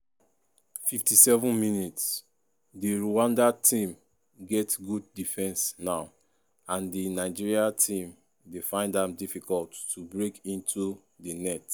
57mins- di rwanda tam get good defence now and di nigeria team dey find am difficult to break into di net.